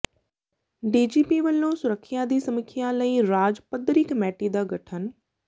DGP ਵੱਲੋਂ ਸੁਰੱਖਿਆ ਦੀ ਸਮੀਖਿਆ ਲਈ ਰਾਜ ਪੱਧਰੀ ਕਮੇਟੀ ਦਾ ਗਠਨ